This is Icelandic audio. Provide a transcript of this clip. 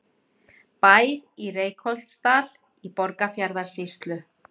Bær í Reykholtsdal í Borgarfjarðarsýslu.